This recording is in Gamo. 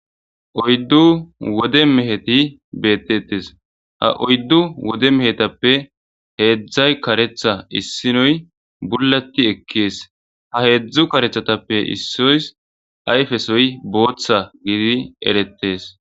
Oyddu wode meheti beetetees. Ha oydu wode mehetappe heedzay kareththa issinoy bullati ekkees. Ha heezzu kareththatappe issos ayfesoy booththa gididi eretees.